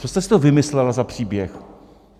Co jste si to vymyslela za příběh?